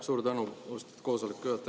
Suur tänu, austatud koosoleku juhataja!